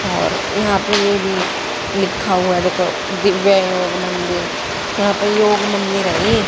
और यहां ले ये भी लिखा हुआ है देखो दिव्य योग मंदिर यहां पे योग मंदिर है ये।